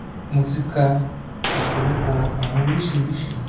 mo ti ka ọpọlọpọ awọn oriṣiriṣi